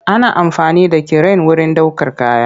Ana amfani da kiren wurin ɗaukar kaya.